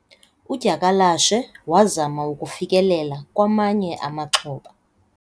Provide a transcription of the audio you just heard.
udyakalashe wazama ukufikelela kwamanye amaxhoba